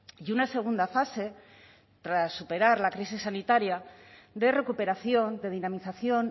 y una segunda fase tras superar la crisis sanitaria de recuperación de dinamización